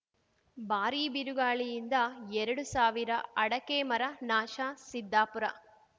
ಭಾರೀ ಬಿರುಗಾಳಿಯಿಂದ ಎರಡು ಸಾವಿರ ಅಡಕೆ ಮರ ನಾಶ ಸಿದ್ದಾಪುರ